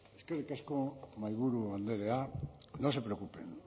eskerrik asko mahaiburu andrea no se preocupen